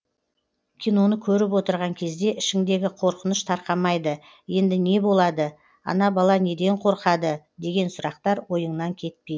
киноны көріп отырған кезде ішіңдегі қорқыныш тарқамайды енді не болады ана бала неден қорқады деген сұрақтар ойыңнан кетпейді